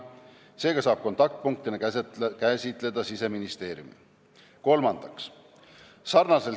Seega saab kontaktpunktina käsitleda Siseministeeriumi.